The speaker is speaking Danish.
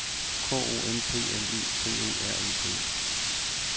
K O M P L I C E R E T